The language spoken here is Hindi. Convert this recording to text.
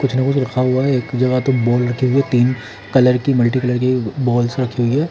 रखा हुआ है जहा पर दो लड़के या तीन कलर की मल्टी कलर की बॉल साथ ली हुई है।